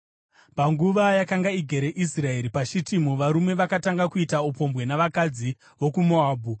Panguva yakanga igere Israeri paShitimu, varume vakatanga kuita upombwe navakadzi vokuMoabhu,